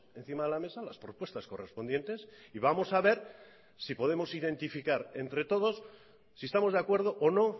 encima de la mesa las propuestas correspondientes y vamos a ver si podemos identificar entre todos si estamos de acuerdo o no